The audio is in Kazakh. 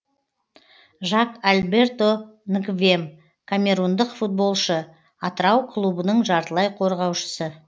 жак альберто нгвем камерундық футболшы атырау клубының жартылай қорғаушысы